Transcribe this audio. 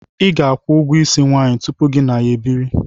ị ga-akwụ ụgwọ isi nwanyị tụpụ gị na ya ebiri